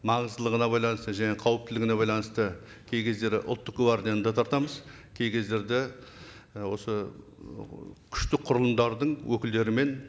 маңыздылығына байланысты және қауіптілігіне байланысты кей кездері ұлттық гвардияны да тартамыз кей кездерде і осы ыыы күшті құрылымдардың өкілдерімен